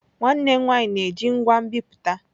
Nwanne m nwanyị na-eji ngwa nbipute.